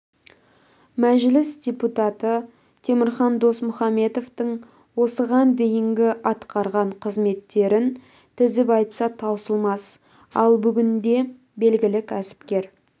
мәжіліс депутаты темірхан досмұхамбетовтің осыған дейінгі атқарған қызметтерін тізіп айтса таусылмас ал бүгінде белгілі кәсіпкер